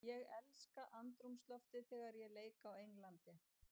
Ég elska andrúmsloftið þegar ég leik á Englandi.